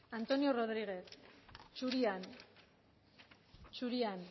antonio rodriguez zurian zurian